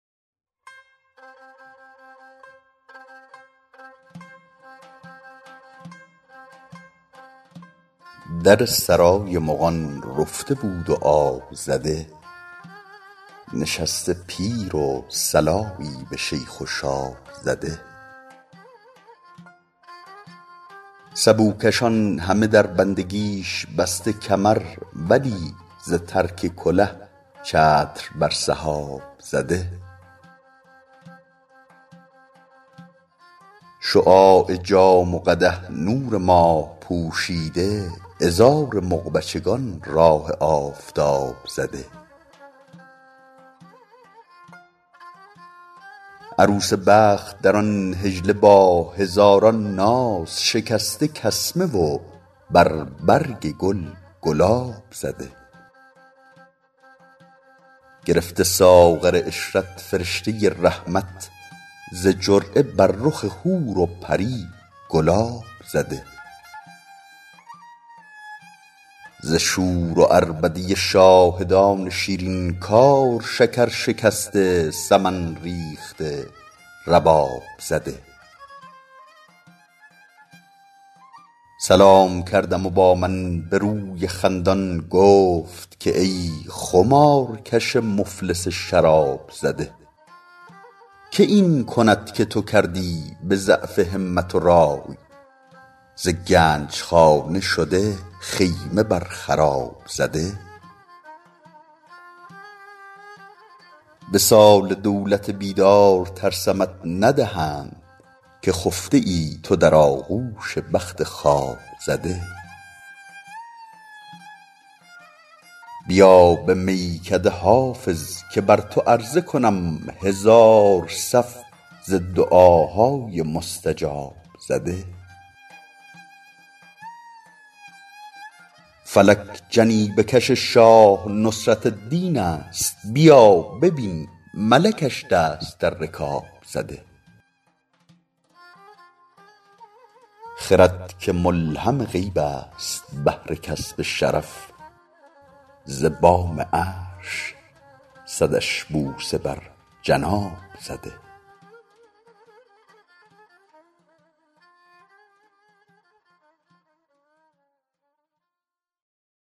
در سرای مغان رفته بود و آب زده نشسته پیر و صلایی به شیخ و شاب زده سبوکشان همه در بندگیش بسته کمر ولی ز ترک کله چتر بر سحاب زده شعاع جام و قدح نور ماه پوشیده عذار مغ بچگان راه آفتاب زده عروس بخت در آن حجله با هزاران ناز شکسته کسمه و بر برگ گل گلاب زده گرفته ساغر عشرت فرشته رحمت ز جرعه بر رخ حور و پری گلاب زده ز شور و عربده شاهدان شیرین کار شکر شکسته سمن ریخته رباب زده سلام کردم و با من به روی خندان گفت که ای خمارکش مفلس شراب زده که این کند که تو کردی به ضعف همت و رای ز گنج خانه شده خیمه بر خراب زده وصال دولت بیدار ترسمت ندهند که خفته ای تو در آغوش بخت خواب زده بیا به میکده حافظ که بر تو عرضه کنم هزار صف ز دعاهای مستجاب زده فلک جنیبه کش شاه نصرت الدین است بیا ببین ملکش دست در رکاب زده خرد که ملهم غیب است بهر کسب شرف ز بام عرش صدش بوسه بر جناب زده